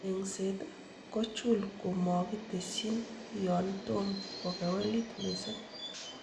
Eng'set kochul komokitesyin yon tom kokewelit missing.